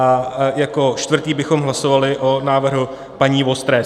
A jako čtvrtý bychom hlasovali o návrhu paní Vostré.